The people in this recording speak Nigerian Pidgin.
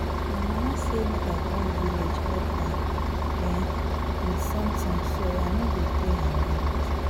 My mama say make I come village help her um with something so I no go dey around